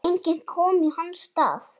Enginn komi í hans stað.